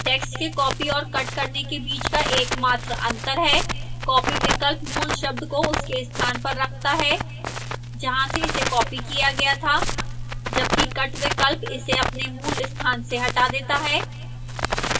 text के copy और cut करने के बीच का एकमात्र अंतर है copy विकल्प मूल शब्द को उसके स्थान पर रखता है जहां से इसे copy किया गया था जबकि cut विकल्प इसे अपने मूल स्थान से हटा देता है